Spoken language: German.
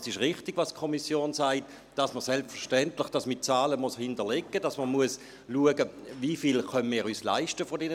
» Es ist richtig, was die Kommission sagt, dass man das selbstverständlich mit Zahlen hinterlegen muss, dass man schauen muss, wie viel von diesen Sachen wir leisten können.